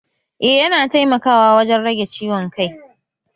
Eh, yana taimakawa wajen rage ciwon kai